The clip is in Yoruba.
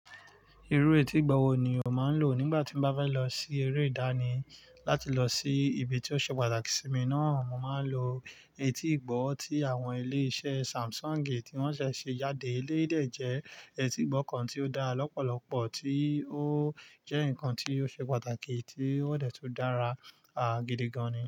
Irú etí ìgbọ́ wo ni o máa ń lò nígbà tí mi bá fẹ́ lọ sí eré ìdánì? Láti lọ sí ibi tí ó ṣe pàtàkì sí mi náà, mo máa ń lo etí ìgbọ́ tí àwọn ilé-iṣẹ́ Samsung tí wọ́n ṣẹ̀ ṣe jáde. Eleyii dé jẹ́ etí ìgbọ́ kan tí ó dá lọ́pọ̀lọpọ̀, tí ó jẹ́ nǹkan tí ó ṣe pàtàkì tí ó dẹ̀ tún dára, a, gidi gan ni.